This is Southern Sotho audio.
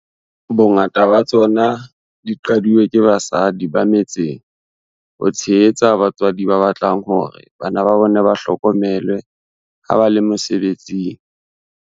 Bongata ba tsona di qadilwe ke basadi ba me tseng ho tshehetsa batswadi ba batlang hore bana ba bona ba hlokomelwe ha ba le mose betsing.